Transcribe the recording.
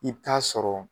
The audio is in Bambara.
I bɛ taa sɔrɔ